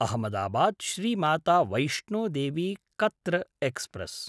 अहमदाबाद्–श्री Mata Vaishno Devi Katra express